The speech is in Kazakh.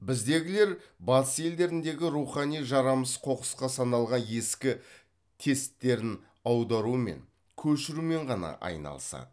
біздегілер батыс елдеріндегі рухани жарамсыз қоқысқа саналған ескі тесттерін аударумен көшірумен ғана айналысады